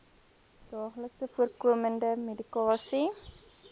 daagliks voorkomende medikasie